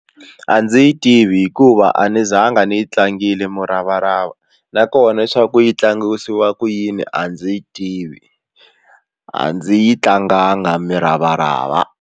A ndzi yi tivi hikuva a ni zanga ni yi tlangile muravarava nakona leswaku yi tlangisiwa ku yini a ndzi yi tivi a ndzi yi tlanganga muravarava.